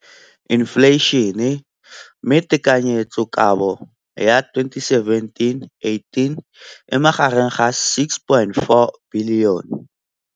Infleišene, mme tekanyetsokabo ya 2017, 18, e magareng ga R6.4 bilione.